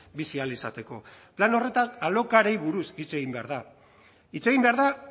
bizi ahal izateko plan horretan alokairuei buruz hitz egin behar da hitz egin behar da